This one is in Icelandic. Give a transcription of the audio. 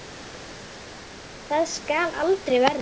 Það skal aldrei verða!